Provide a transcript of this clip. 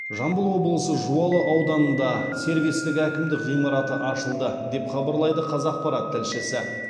жамбыл облысы жуалы ауданында сервистік әкімдік ғимараты ашылды деп хабарлайды қазақпарат тілшісі